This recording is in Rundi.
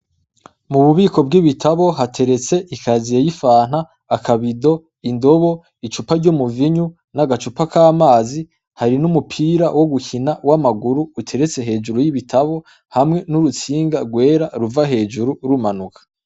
Mu bubiko bw'ibitabo hateretse ikaziye y'ifanta, akabido, indobo, icupa ry'umuvinyu, n'agacupa k'amazi, hari n'umupira wo gukina w'amaguru uteretse hejuru y'ibitabo, hamwe n'urutsinga rwera ruva hejuru rumanuka.